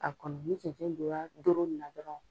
A kɔni ni cɛncɛn donna doro nin na dɔrɔn